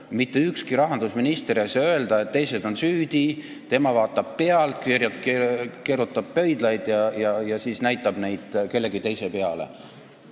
Mitte ükski rahandusminister ei tohiks öelda, et teised on süüdi, tema vaatab pealt, keerutab pöidlaid ja siis näitab näpuga kellegi teise peale.